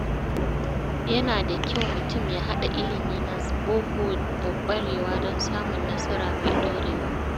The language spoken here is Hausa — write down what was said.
Yana da kyau mutum ya haɗa ilimi na boko da ƙwarewa don samun nasara mai ɗorewa.